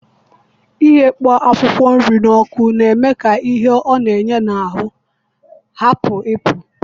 Ighakpo akwụkwọ nri na ọkụ na-eme ka ihe ọ na-enye n'ahụ hapụ ipu